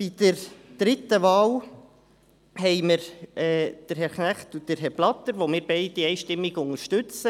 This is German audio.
Bei der dritten Wahl haben wir Herrn Knecht und Herrn Blatter, die wir beide einstimmig unterstützen.